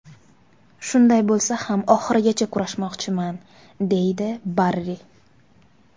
Shunday bo‘lsa ham oxirigacha kurashmoqchiman”, deydi Barri.